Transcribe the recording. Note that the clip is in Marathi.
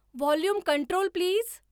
volume control please